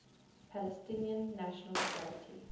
palestinian national authority